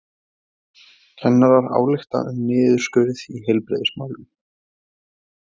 Kennarar álykta um niðurskurð í heilbrigðismálum